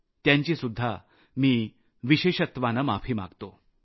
त्यांची सुद्धा मी विशेषत्वाने माफी मागतो